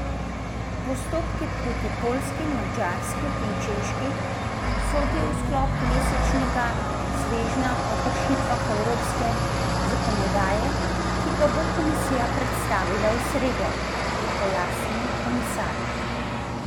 Postopki proti Poljski, Madžarski in Češki sodijo v sklop mesečnega svežnja o kršitvah evropske zakonodaje, ki ga bo komisija predstavila v sredo, je pojasnil komisar.